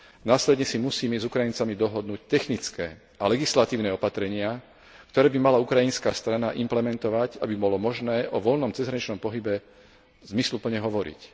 Následne si musíme s Ukrajincami dohodnúť technické a legislatívne opatrenia, ktoré by mala ukrajinská strana implementovať, aby bolo možné o voľnom cezhraničnom pohybe zmysluplne hovoriť.